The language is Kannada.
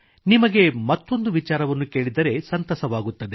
ನಿಮಗೆ ಮತ್ತೊಂದು ವಿಚಾರವನ್ನು ಕೇಳಿದರೆ ಸಂತಸವಾಗುತ್ತದೆ